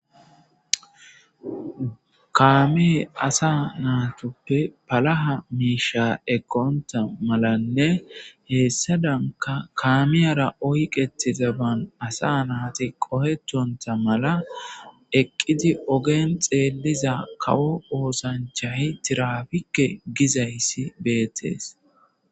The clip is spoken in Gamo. kaamee asa naatoppe palaha miisha eqqonta malanne heessadanka kaamiyara oyqetizaban asa naati qohetonta mala eqqidi ogen xeeliza kawo oosanchay tiraafikke gizayssi beettees.